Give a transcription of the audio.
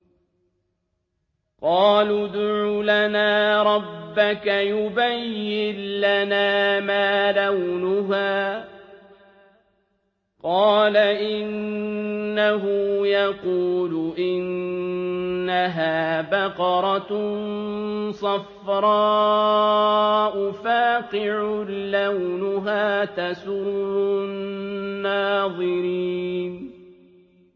قَالُوا ادْعُ لَنَا رَبَّكَ يُبَيِّن لَّنَا مَا لَوْنُهَا ۚ قَالَ إِنَّهُ يَقُولُ إِنَّهَا بَقَرَةٌ صَفْرَاءُ فَاقِعٌ لَّوْنُهَا تَسُرُّ النَّاظِرِينَ